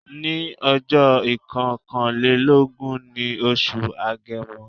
Ní ọjó ìkokanlélógún ní oṣù agemo